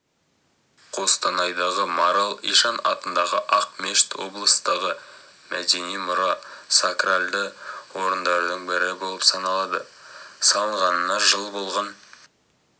қостанайдағы марал ишан атындағы ақ мешіт облыстағы мәдени мұра сакральды орындардың бірі болып саналады салынғанына жыл болған